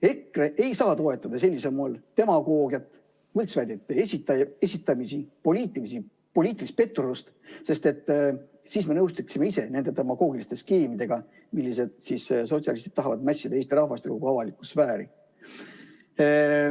EKRE ei saa toetada sellisel moel demagoogiat, võltsväidete esitamist, poliitilist petturlust, sest siis me nõustuksime ise nende demagoogiliste skeemidega, millesse sotsialistid tahavad mässida Eesti rahvast ja kogu avalikku sfääri.